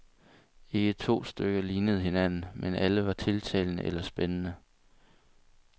Ikke to stykker lignede hinanden, men alle var tiltalende eller spændende.